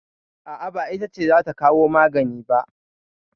A'a, ba ita ce za ta kawo magani ba.